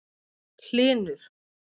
Hlynur